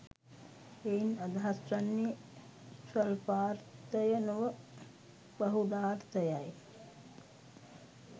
එයින් අදහස් වන්නේ ස්වල්පාර්ථය නොව බහුලාර්ථයයි.